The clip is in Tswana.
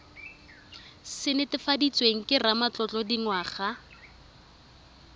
se netefaditsweng ke ramatlotlo dingwaga